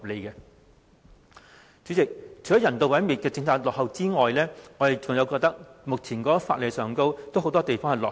代理主席，除了有關人道毀滅的政策落後外，目前法例很多方面都相當落後。